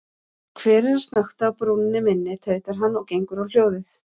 Hver er að snökta á brúnni minni, tautar hann og gengur á hljóðið.